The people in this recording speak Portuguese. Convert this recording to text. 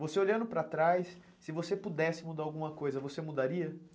Você olhando para trás, se você pudesse mudar alguma coisa, você mudaria?